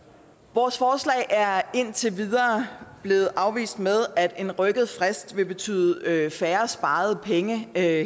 vores forslag er indtil videre blevet afvist med at en rykket frist vil betyde færre sparede penge her